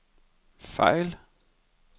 fejl